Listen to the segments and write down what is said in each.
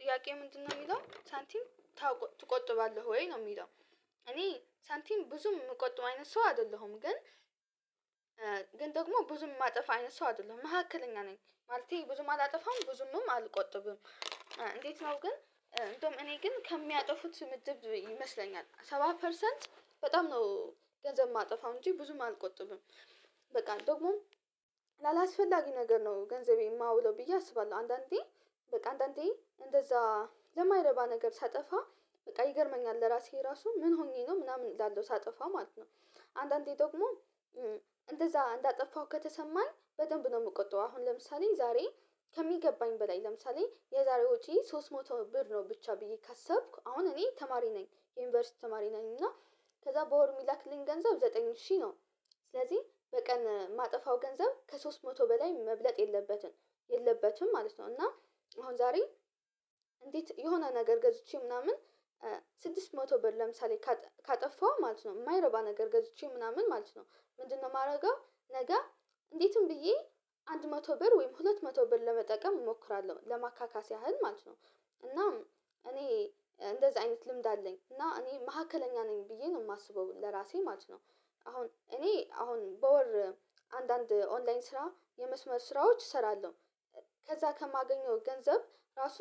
ጥያቄ ምንድነው የሚለው ሳንቲም ትቆጥባለህ ወይ ነው የሚለው? እኔ ሳንቲም ብዙም የምቆጥብ አይነት ሰው አይደለሁም ግን ግን ደግሞ ብዙም የማጠፋ አይነት ሰው አይደለሁም መካከለኛ ነኝ ማለቴ ብዙም አላጠፋም ብዙም አልቆጥብም። እንዴት ነው ግን እንደውም እኔ ግን ከሚያጠፉት ምድብ ይመስለኛል ሰባ ፐርሰንት በጣም ነው ገንዘብ የማጠፋው እንጂ ብዙም አልቆጥብም። በቃ ደግሞ ላላስፈላጊ ነገር ነው ገንዘቤ የማውለው ብዬ አስባለሁ። አንዳንዴ በቃ አንዳንዴ እንደዛ ለማይረባ ነገር ሳጠፋ በቃ ይገርመኛል ለራሴ ራሱ ምን ሆኜ ነው ምናምን እላለሁ ሳጠፋ ማለት ነው። አንዳንዴ ደግሞ እንደዛ እንዳጠፋው ከተሰማኝ በደንብ ነው የምትቀጣው። አሁን ለምሳሌ ዛሬ ከሚገባኝ በላይ ለምሳሌ የዛሬዎቼ ሶስት መቶ ብር ነው ብቻ ብዬ ካሰብኩ አሁን እኔ ተማሪ ነኝ ዩኒቨርሲቲ ተማሪ ነኝ እና ከዛ በወር የሚላክልኝ ገንዘብ ዘጠኝ ሺህ ነው። ስለዚህ በቀን ማጠፋው ገንዘብ ከሶስት መቶ በላይ መብለጥ የለበትም የለበትም ማለት ነው። እና አሁን ዛሬ እንዴት የሆነ ነገር ገዝቼ ምናምን ስድስት መቶ ብር ለምሳሌ ካጠፋው ማለት ነው የማይረባ ነገር ገዝቼ ምናምን ማለት ነው። ምንድነው የማደርገው ነገ እንዴትም ብዬ አንድ መቶ ብር ወይም ሁለት መቶ ብር ለመጠቀም እሞክራለሁ ለማካካስ ያህል ማለት ነው። እና እኔ እንደዚህ አይነት ልምድ አለኝ እና እኔ መካከለኛ ነኝ ብዬ ነው የማስበው ለራሴ ማለት ነው። አሁን እኔ አሁን በወር አንዳንድ ኦንላይን ስራ የመስመር ስራዎች እሰራለሁ። ከዛ ከማገኘው ገንዘብ ራሱ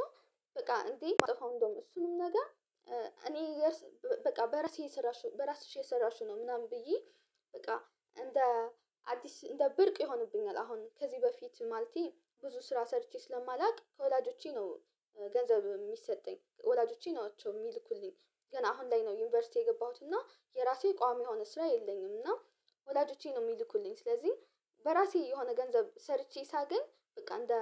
በቃ እንዴ የማጠፋው እንደውም እሱንም ነገር እኔ እገርስ በቃ በራሴ የሰራሽው በራስሽ የሰራሽው ነው ምናምን ብዬ በቃ እንደ አዲስ እንደ ብርቅ ይሆንብኛል። አሁን ከዚህ በፊት ማልቲ ብዙ ስራ ሰርቼ ስለማላውቅ ከወላጆቼ ነው ገንዘብ የሚሰጠኝ ወላጆቼ ናቸው የሚልኩልኝ። ገና አሁን ላይ ነው ዩኒቨርሲቲ የገባሁት እና የራሴ ቋሚ የሆነ ስራ የለኝም እና። ወላጆቼ ነው የሚልኩልኝ ስለዚህ በራሴ የሆነ ገንዘብ ሰርቼ ሳገኝ በቃ እንደ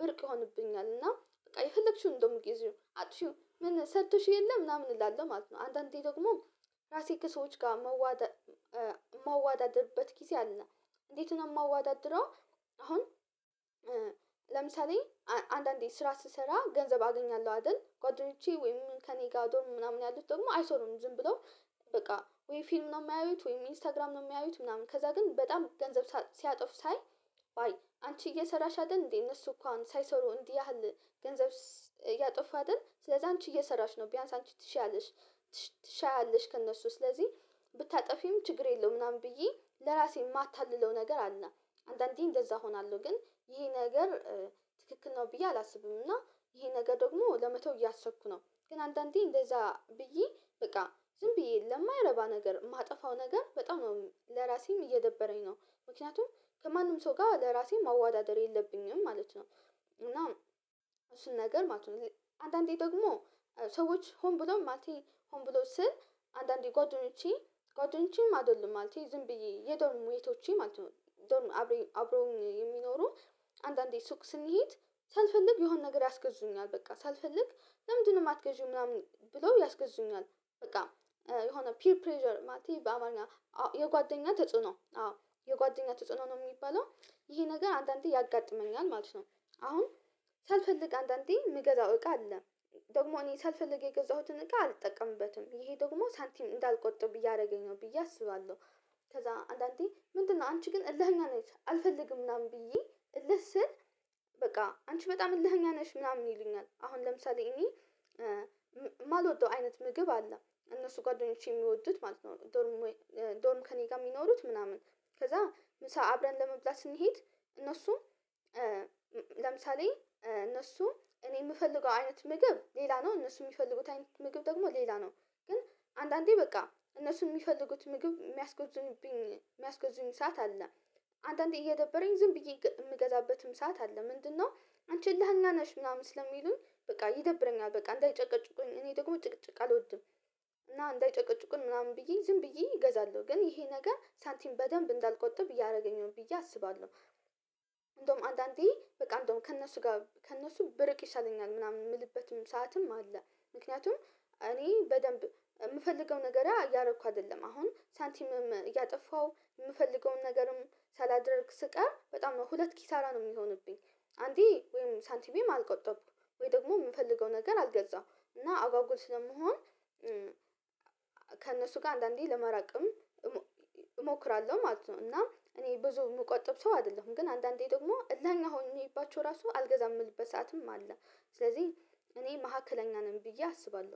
ብርቅ ይሆንብኛል እና በቃ የፈለግሽውን እንደውም እንደምትገኝ አጥቼው ምን ሰጥቶሽ የለም ምናምን እላለሁ ማለት ነው። አንዳንዴ ደግሞ ራሴ ከሰዎች ጋር መዋደ መዋዳደርበት ጊዜ አለና እንዴት ነው የማዋዳድረው? አሁን ለምሳሌ አንዳንዴ ስራ ስሰራ ገንዘብ አገኛለሁ አይደል ጓደኞቼ ወይም ከእኔ ጋር ድሮ ምናምን ያሉት ደግሞ አይሰሩም ዝም ብለው በቃ ወይ ፊልም ነው የማያዩት ወይ ኢንስታግራም ነው የማያዩት ምናምን ከዛ ግን በጣም ገንዘብ ሲያጠፍ ሳይ። አንቺ እየሰራሽ አይደል እንዴ እነሱ እኮ አሁን ሳይሰሩ እንዲህ ያህል ገንዘብ ስለዛ አንቺ እየሰራሽ ነው ቢያንስ አንቺ ትሻለሽ። ትሻለሽ ከእነሱ ስለዚህ ብታጠፊም ችግር የለውም ምናምን ብዬ ለራሴ የማታልለው ነገር አለ። አንዳንዴ እንደዛ እሆናለሁ ግን ይሄ ነገር ትክክል ነው ብዬ አላስብም። እና ይሄ ነገር ደግሞ ለመተው እያሰብኩ ነው ግን አንዳንዴ እንደዛ ብዬ በቃ ዝም ብዬ ለማይረባ ነገር የማጠፋው ነገር በጣም ነው ለራሴም እየደበረኝ ነው። ምክንያቱም ከማንም ሰው ጋር ለራሴ መዋዳደር የለብኝም ማለት ነው። እና እሱን ነገር ማለት ነው። አንዳንዴ ደግሞ ሰዎች ሁን ብሎ ማለቴ ሁን ብሎ ስል አንዳንዴ ጓደኞቼ ጓደኞቼም አይደለም ማለት ዝም ብዬ የዶርም ሜቶቼ ማለት ነው አብረው የሚኖሩ አንዳንዴ ሱቅ ስንሄድ ሳልፈልግ የሆነ ነገር ያስገዙኛል በቃ ሳልፈልግ ለምንድነው የማትገዢው ምናምን ብለው ያስገዙኛል። በቃ የሆነ ፒር ፕሬዠር ማቲ በአባል ነው የጓደኛ ተጽዕኖ አዎ የጓደኛ ተጽዕኖ ነው የሚባለው። ይሄ ነገር አንዳንዴ ያጋጥመኛል ማለት ነው። አሁን ሳልፈልግ አንዳንዴ ምገዛው እቃ አለ። ደግሞ እኔ ሳልፈልግ የገዛሁትን እቃ አልጠቀምበትም ይሄ ደግሞ ሳንቲም እንዳልቆጥር ብዬ አደረገኝ ነው ብዬ አስባለሁ። ከዛ አንዳንዴ ምንድነው አንቺ ግን እልህና አልፈልግም ምናምን ብዬ እልህ ስል። በቃ አንቺ በጣም እልህኛ ነሽ ምናምን ይሉኛል አሁን ለምሳሌ እኔ የማልወደው አይነት ምግብ አለ እነሱ ጓደኞቼ የሚወዱት ማለት ነው። ዶርም ከእኔ ጋር የሚኖሩት ምናምን ከዛ ምሳ አብረን ለመብላት ስንሄድ እነሱም ለምሳሌ እነሱ እኔ የምፈልገው አይነት ምግብ ሌላ ነው እነሱ የሚፈልጉት አይነት ምግብ ደግሞ ሌላ ነው። ግን አንዳንዴ በቃ እነሱ የሚፈልጉት ምግብ የሚያስጎዝኑብኝ ሰዓት አለ። አንዳንዴ እየደበረኝ ዝም ብዬ የምገዛበትም ሰዓት አለ ምንድነው? አንቺ ላህና ነሽ ምናምን ስለሚሉኝ በቃ ይደብረኛል በቃ እንዳይጨቀጭቁኝ እኔ ደግሞ ጭቅጭቅ አልወድም። እና እንዳይጨቀጭቁን ምናምን ብዬ ዝም ብዬ እገዛለሁ ግን ይሄ ነገር ሳንቲም በደንብ እንዳልቆጥብ እያደረገኝ ነው ብዬ አስባለሁ። እንደውም አንዳንዴ በቃ እንደውም ከእነሱ ጋር ከእነሱ ብርቅ ይሰለኛል ምናምን የምልበትም ሰዓትም አለ። ምክንያቱም እኔ በደንብ የምፈልገው ነገር እያደረኩ አይደለም አሁን ሳንቲምም እያጠፋው የምፈልገውን ነገርም ሳላደርግ ስቀር በጣም ሁለት ኪሳራ ነው የሚሆንብኝ። አንዴ ወይም ሳንቲሜም አልቆጠብኩም ወይ ደግሞ የምፈልገው ነገር አልገዛም እና አጓጉል ስለመሆን። ከእነሱ ጋር አንዳንዴ ለመራቅም እሞክራለሁ ማለት ነው። እና እኔ ብዙ የምቆጥብ ሰው አይደለሁም ግን አንዳንዴ ደግሞ እልሀኛ ሆኜባቸው ራሱ አልገዛም የምልበት ሰዓትም አለ። ስለዚህ እኔ መካከለኛ ነኝ ብዬ አስባለሁ